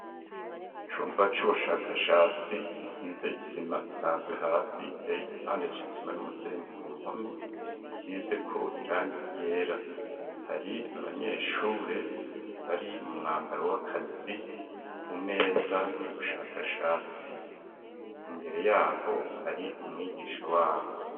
Icumba c'ubushakashatsi gisize isima isanzwe hasi ,giteye igipande c'isima n'umusenyi ku mpome, asizeko irangi ryera ,hari abanyeshure bari mu mwambaro w'akazi ku meza y'ubushakashatsi, imbere yabo hari umwigisha wabo.